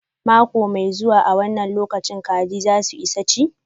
Mako mai zuwa an wanna lokacin kajin za su isa chi.